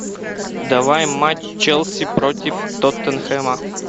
давай матч челси против тоттенхэма